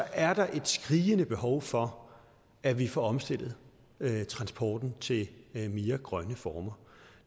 er derfor et skrigende behov for at vi får omstillet transporten til mere grønne former